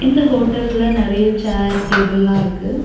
இந்த ஹோட்டல்ல நறைய சேர் டேபிள்லா இருக்கு.